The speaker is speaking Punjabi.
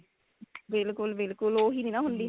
ਬਿਲਕੁਲ ਬਿਲਕੁਲ ਉਹੀ ਨਹੀਂ ਨਾ ਹੁੰਦੀ